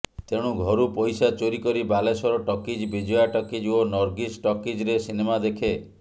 ତେଣୁ ଘରୁ ପଇସା ଚୋରି କରି ବାଲେଶ୍ୱର ଟକିଜ୍ ବିଜୟା ଟକିଜ୍ ଓ ନର୍ଗିସ୍ ଟକିଜ୍ରେ ସିନେମା ଦେଖେ